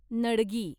नडगी